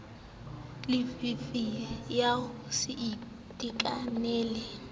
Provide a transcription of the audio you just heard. llifi ya ho se itekanele